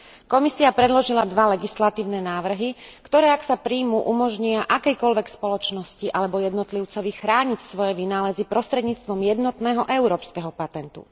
Komisia predložila dva legislatívne návrhy, ktoré, ak sa prijmú, umožnia akejkoľvek spoločnosti alebo jednotlivcovi chrániť svoje vynálezy prostredníctvom jednotného európskeho patentu.